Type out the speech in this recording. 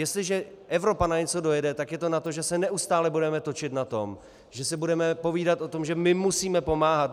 Jestliže Evropa na něco dojede, tak je to na to, že se neustále budeme točit na tom, že si budeme povídat o tom, že my musíme pomáhat.